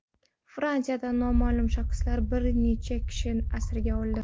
Fransiyada noma’lum shaxslar bir necha kishini asirga oldi.